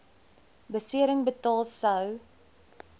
besering betaal sou